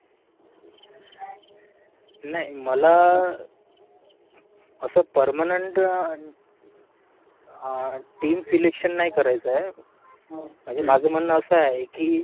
नाय, मला, असं permanent team selection नाही करायचंय, म्हणजे माझं म्हणणं असं आहे कि